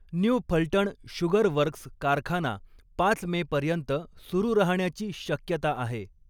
New Phaltan sugar works कारखाना पाच May पर्यंत सुरू राहण्याची शक्यता आहे.